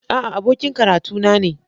A'a, abokin karatuna ne